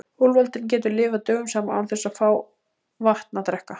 Úlfaldinn getur lifað dögum saman án þess að fá vatn að drekka.